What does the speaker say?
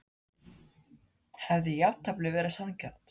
Hefði jafntefli verið sanngjarnt?